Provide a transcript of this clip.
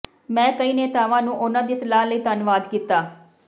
ਮੈਂ ਕਈ ਨੇਤਾਵਾਂ ਨੂੰ ਉਨ੍ਹਾਂ ਦੀ ਸਲਾਹ ਲਈ ਧੰਨਵਾਦ ਕੀਤਾ